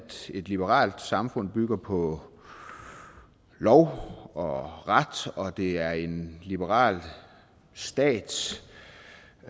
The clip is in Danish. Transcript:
et liberalt samfund bygger på lov og ret og det er en liberal stats